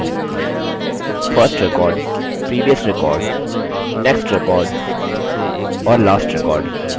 first record पहला record previous record पिछला record next record अगला record और last record आखिरी record